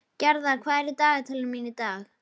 Gerðar, hvað er í dagatalinu mínu í dag?